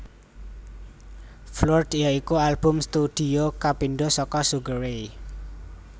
Floored ya iku album studio kapindho saka Sugar Ray